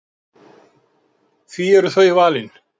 Því eru þau valin?